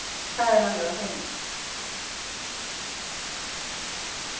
Það er alveg á hreinu